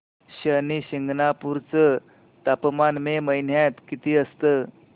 शनी शिंगणापूर चं तापमान मे महिन्यात किती असतं